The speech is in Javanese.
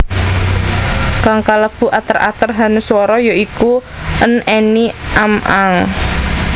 Kang kalebu ater ater hanuswara ya iku an any am ang